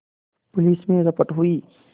police में रपट हुई